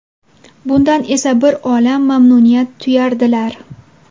Bundan esa bir olam mamnuniyat tuyardilar.